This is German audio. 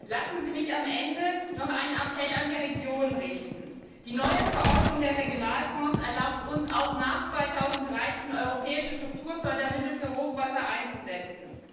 Lassen Sie mich noch einen Appell an die Regionen richten Die neue Verordnung über die Regionalfonds erlaubt uns, auch nach 2013 europäische Strukturfördermittel für Hochwasser einzusetzen.